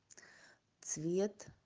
цвет